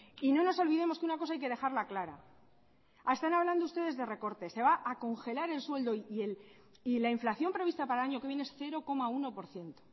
y no nos olvidemos que una cosa hay que dejarla clara están hablando ustedes de recortes se va a congelar el sueldo y la inflación prevista para el año que viene es cero coma uno por ciento